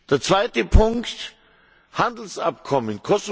Der zweite Punkt Handelsabkommen.